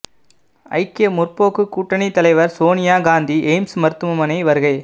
ஐக்கிய முற்போக்கு கூட்டணி தலைவர் சோனியா காந்தி எய்ம்ஸ் மருத்துவமனை வருகை